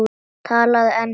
Talaðu ensku!